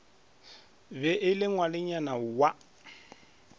be e le ngwanenyana wa